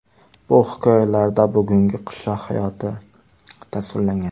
Bu hikoyalarida bugungi qishloq hayoti tasvirlangan.